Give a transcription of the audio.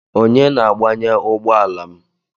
Onye na-agbanye ugbọala m?